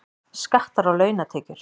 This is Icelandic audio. Skattar á launatekjur